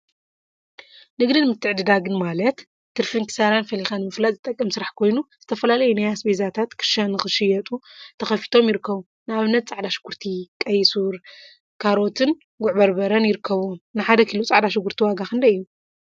ንግድን ምትዕድዳግን ማለት ትርፊን ኪሳራን ፈሊካ ንምፍላጥ ዝጠቅም ስራሕ ኮይኑ፤ ዝተፈላለዩ ናይ አስቤዛታት ክሻ ንክሽየጡ ተከፊቶም ይርከቡ፡፡ ንአብነት ፃዕዳ ሽጉርቲ፣ ቀይሕ ሱር፣ ካሮትን ጉዕ በርበረን ይርከቡዎም፡፡ ንሓደ ኪሎ ፃዕዳ ሽጉርቲ ዋጋ ክንደይ እዩ?